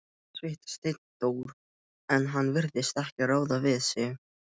Þetta veit Steindór, en hann virðist ekki ráða við sig.